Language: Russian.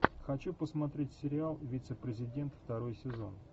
хочу посмотреть сериал вице президент второй сезон